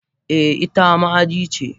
Eh ita ma aji ce.